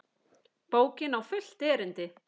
Bókin á fullt erindi.